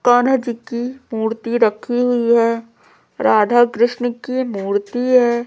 कान्हा जी की मूर्ति रखी हुई है राधा कृष्ण की मूर्ति है।